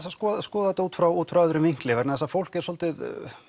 að skoða skoða þetta út frá út frá öðrum vinkli vegna þess að fólk er svolítið